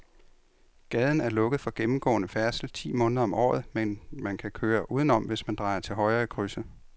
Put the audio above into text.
Gaden er lukket for gennemgående færdsel ti måneder om året, men man kan køre udenom, hvis man drejer til højre i krydset.